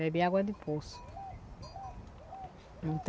Bebe água de poço.